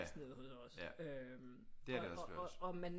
Nede hos os øh og man